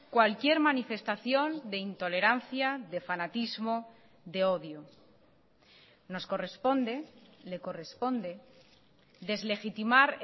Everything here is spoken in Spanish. cualquier manifestación de intolerancia de fanatismo de odio nos corresponde le corresponde deslegitimar